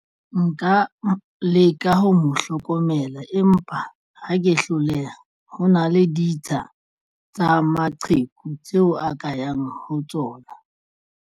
Nka leka ho mo hlokomela, empa ha ke hloleha ho na le ditsha tsa maqheku tseo a ka yang ho tsona.